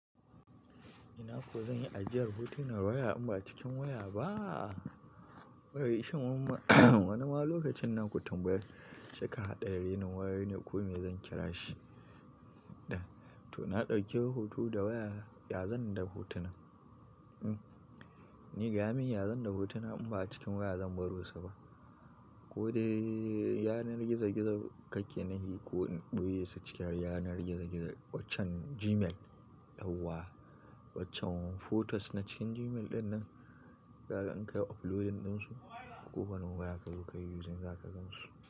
Ina so zan yi ajiyar hotuna waya in ba a cikin waya ba? Wai shin wani ma lokacin nan ku tambaya cika haɗa da renin wayau ne ko me zan ƙira shi? To na ɗauki hoto da waya, ya zan da hotunan? Ni gaya min ya zan yi da hotunan in ba a cikin waya zan baro su ba? Ko dai yanar gizo-gizo kake nufi ko in ɓoye su ciki yanar gizo-gizo waccen Gmail, yauwa, waccan photos na cikin Gmail dinnan, kaga in kayi uploading ɗinsu. Ko da wani waya ka zo ka yi using za ka gan su.